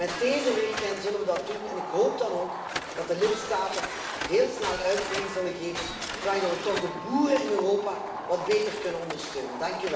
Met deze richtlijn zullen we dat doen en ik hoop dan ook dat de lidstaten heel snel uitvoering zullen geven, zodat wij de boeren in Europa wat beter kunnen ondersteunen.